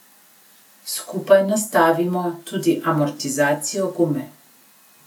Skupaj nastavimo tudi amortizacijo, gume.